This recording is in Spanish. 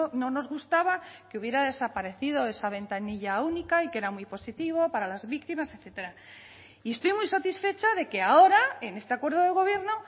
no nos gustaba que hubiera desaparecido esa ventanilla única y que era muy positivo para las víctimas etcétera y estoy muy satisfecha de que ahora en este acuerdo de gobierno